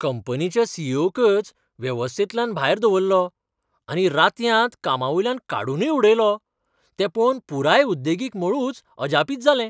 कंपनीच्या C. E. O. कच वेवस्थेंतल्यान भायर दवल्लो आनी रातयांत कामावयल्यान काडूनय उडयलो तें पळोवन पुराय उद्देगीक मळूच अजापीत जालें.